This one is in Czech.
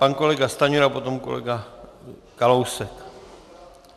Pan kolega Stanjura, potom kolega Kalousek.